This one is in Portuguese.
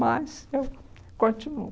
Mas eu continuo.